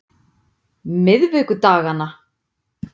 miðvikudaganna